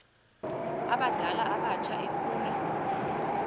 abadala abatsha efuna